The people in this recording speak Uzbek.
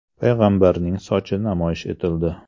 payg‘ambarning sochi namoyish etildi.